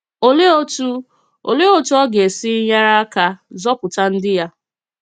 Olèe otú Olèe otú ọ gā-esi nyere aka zọpụta ndị ya?